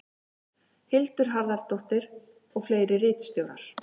Hildur Harðardóttir og fleiri ritstjórar.